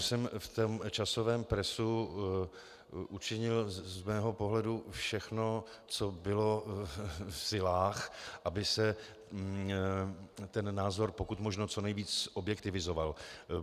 - že jsem v tom časovém presu učinil z mého pohledu všechno, co bylo v silách, aby se ten názor pokud možno co nejvíc objektivizoval.